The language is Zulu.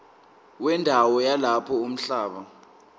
wendawo yalapho umhlaba